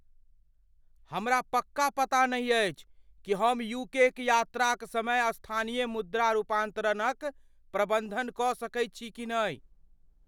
हमरा पक्का पता नहि अछि कि हम यू के क यात्राक समय स्थानीय मुद्रा रूपान्तरणक प्रबन्ध कऽ सकैत छी कि नहि।